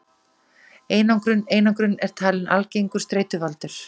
Einangrun Einangrun er talin algengur streituvaldur.